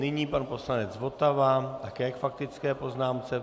Nyní pan poslanec Votava také k faktické poznámce.